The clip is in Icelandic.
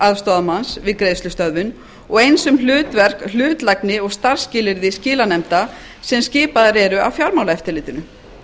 aðstoðarmanns við greiðslustöðvun og eins um hlutverk hlutlægni og starfsskilyrði skilanefnda sem skipaðar eru af fjármálaeftirlitinu